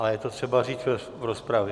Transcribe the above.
Ale je to třeba říct v rozpravě.